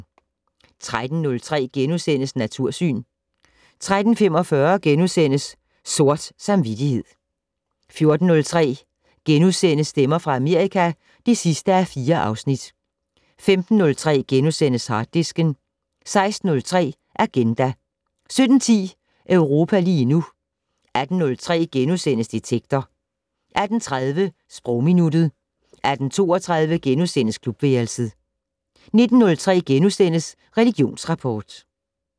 13:03: Natursyn * 13:45: Sort samvittighed * 14:03: Stemmer fra Amerika (4:4)* 15:03: Harddisken * 16:03: Agenda 17:10: Europa lige nu 18:03: Detektor * 18:30: Sprogminuttet 18:32: Klubværelset * 19:03: Religionsrapport *